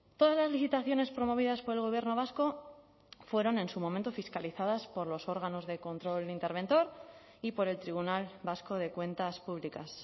todas las licitaciones promovidas por el gobierno vasco fueron en su momento fiscalizadas por los órganos de control interventor y por el tribunal vasco de cuentas públicas